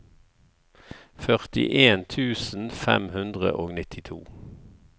førtien tusen fem hundre og nittito